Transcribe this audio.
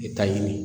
I bɛ taa ɲini